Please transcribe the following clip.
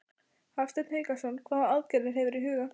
Hafsteinn Hauksson: Hvaða aðgerðir hefurðu í huga?